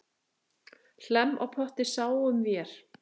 Hlemm á potti sáum vér.